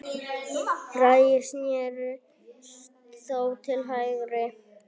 Bragi snérist þó til hægri.